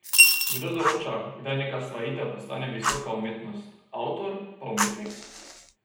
Kdo določa, kdaj neka stvaritev postane visoka umetnost, avtor pa umetnik?